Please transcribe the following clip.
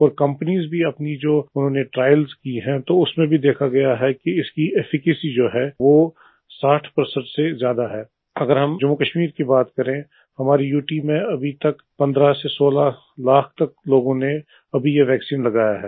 और कंपनीज भी जो अपनी ट्रायल्स की है तो उसमे भी देखा गया है कि इसकी एफिकेसी जो है वो 60 से ज्यादा है और अगर हम जम्मू कश्मीर की बात करें तो हमारी उत में अभी तक 15 से 16 लाख तक लोगों ने अभी ये वैक्सीन लगाया है